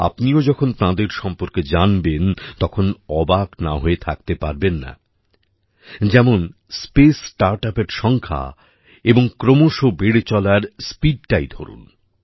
আপনিও যখন তাঁদের সম্পর্কে জানবেন তখন অবাক না হয়ে থাকতে পারবেন না যেমন স্পেস startupএর সংখ্যা এবং ক্রমশ বেড়ে চলার স্পিডটাই ধরুন